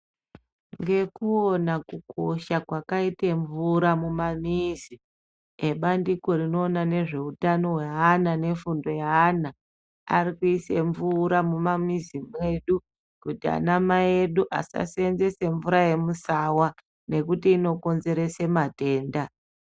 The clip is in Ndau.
Ngekuona kukosha kwakaite mvura mumamizi, ebandiko rinoona nezveutano hweana nefundo yeana ari kuisa mvura mumamizi medu kuti anamai edu asashandisa mvura yemuSawa ngekuti inokonzeresa matenda.